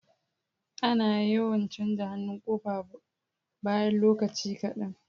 Ana yawan canja hannun kofa bayan lokaci kadan